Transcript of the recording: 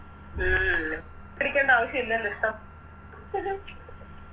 ഉം പിടിക്കണ്ട ആവശ്യം ഇല്ലല്ലോ ഇഷ്ട്ടം